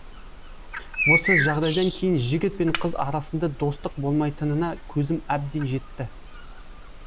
осы жағдайдан кейін жігіт пен қыз арасында достық болмайтынына көзім әбден жетті